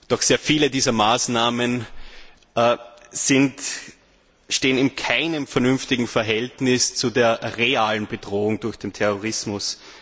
Doch sehr viele dieser Maßnahmen stehen in keinem vernünftigen Verhältnis zu der realen Bedrohung durch den Terrorismus.